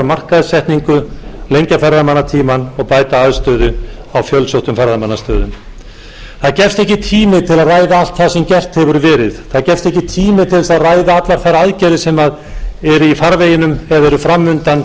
markaðssetningu lengja ferðamannatímann og bæta aðstöðu á fjölsóttum ferðamannastöðum það gefst ekki tími til að ræða allt það sem gert hefur verið það gefst ekki tími til að ræða allar þær aðgerðir sem eru í farveginum eða eru fram undan til